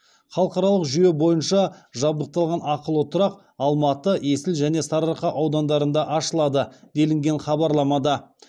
халықаралық жүйе бойынша жабдықталған ақылы тұрақ алматы есіл және сарыарқа аудандарында ашылады делінген хабарламада